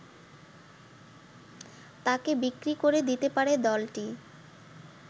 তাকে বিক্রি করে দিতে পারে দলটি